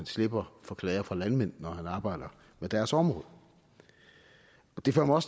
slipper for klager fra landmændene når han arbejder med deres område det fører mig